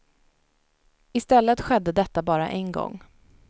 I stället skedde detta bara en gång.